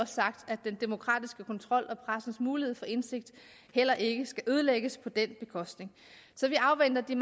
sagt at den demokratiske kontrol og pressens mulighed for indsigt heller ikke skal ødelægges på den bekostning så vi afventer de